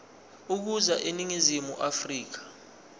ukuza eningizimu afrika